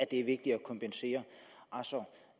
det er vigtigt at kompensere